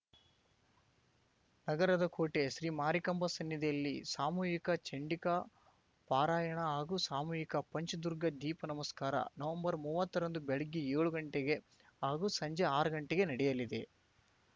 ನಗರದ ಕೋಟೆ ಶ್ರೀ ಮಾರಿಕಾಂಬಾ ಸನ್ನಿಧಿಯಲ್ಲಿ ಸಾಮೂಹಿಕ ಚಂಡಿಕಾ ಪಾರಾಯಣ ಹಾಗೂ ಸಾಮೂಹಿಕ ಪಂಚದುರ್ಗಾ ದೀಪ ನಮಸ್ಕಾರ ನವಂಬರ್ ಮೂವತ್ತರಂದು ಬೆಳಗ್ಗೆ ಏಳು ಗಂಟೆಗೆ ಹಾಗೂ ಸಂಜೆ ಆರು ಗಂಟೆಗೆ ನಡೆಯಲಿದೆ